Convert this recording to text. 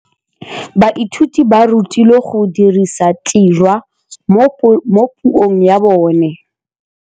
Baithuti ba rutilwe go dirisa tirwa mo puong ya bone.